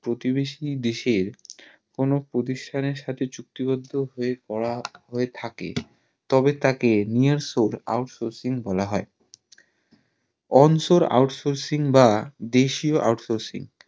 প্রতিবেশী দেশের কোনো প্রতিষ্ঠানের সাথে চুক্তি বৈদ্ধ হয় থাকে তবে তাকে near source outsourcing বলা হয় on source out sourcing বা দেশীয় outsourcing